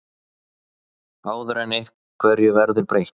Áður en einhverju verður breytt?